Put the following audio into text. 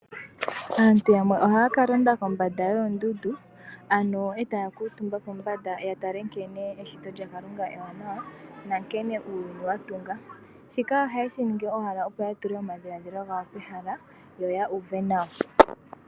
Aantu yamwe ohaka londa kombanda yoondundu ano etaya kuutumba kombanda yatale nkene eshito lyaKalunga ewanawa nankene uuyuni watunga. Shika ohaye shiningi owala opo ya tule omadhiladhilo gawo pehala yoya uve nawa.